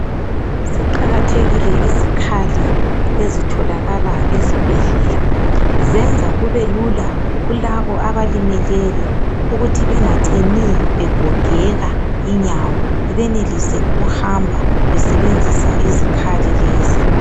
Ziqakathekile izikhali ezitholakala ezibhedlela zenza kube lula kulabo abalimeleyo ukuthi bengacini begogeka inyawo benelise ukuhamba besebenzisa izikhali lezi.